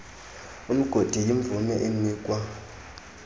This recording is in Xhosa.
umgodi yimvume enikwa